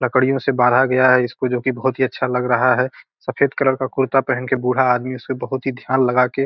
लकड़ियों से बांधा गया है इसको जो की बहुत ही अच्छा लग रहा है सफेद कलर का कुर्ता पहन के बूढ़ा आदमी उसपे बहुत ही ध्यान लगा के --